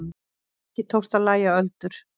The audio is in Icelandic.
Ekki tókst að lægja öldur.